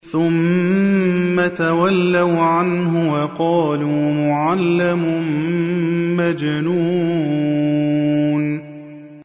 ثُمَّ تَوَلَّوْا عَنْهُ وَقَالُوا مُعَلَّمٌ مَّجْنُونٌ